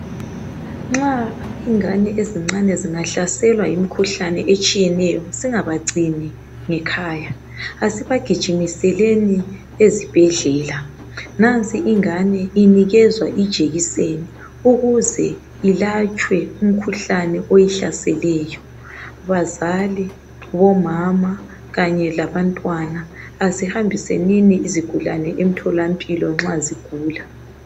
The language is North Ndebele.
nxa izingane ezincane etshiyeneyo asingabagcini ngekhaya asibagijimiseleni ezibhedlela nansi ingane inikezwa ijekiseni ukuze ilatshwe umkhuhlane oyihlaseleyo bazali bomama kanye labantwana asihambisenini izigulane emtholampilo nxa zigula